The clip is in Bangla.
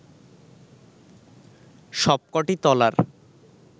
সবক’টি তলার